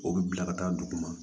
O bɛ bila ka taa dugu ma